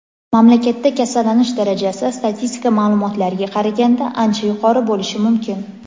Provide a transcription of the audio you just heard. mamlakatda kasallanish darajasi statistika ma’lumotlariga qaraganda ancha yuqori bo‘lishi mumkin.